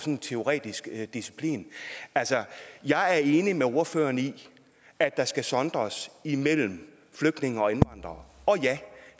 en teoretisk disciplin jeg er enig med ordføreren i at der skal sondres imellem flygtninge og indvandrere og ja